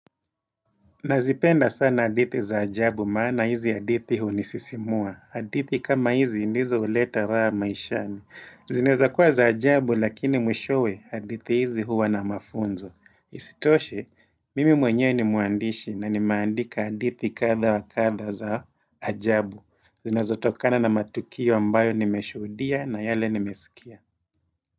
Nazipenda sana hadithi za ajabu maana hizi hadithi hunisisimua. Hadithi kama hizi ndizo huleta raha maishani. Zineza kuwa za ajabu lakini mwishowe hadithi hizi huwa na mafunzo. Isitoshe, mimi mwenyewe ni muandishi na nimeandika hadithi kadha wa kadha za ajabu. Zinazotokana na matukio mbayo nimeshuhudia na yale nimesikia.